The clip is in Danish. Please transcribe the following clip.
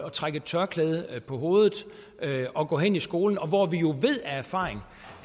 at trække et tørklæde om hovedet og gå hen i skolen hvor vi jo ved af erfaring